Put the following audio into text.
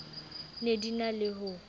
ne di na le ho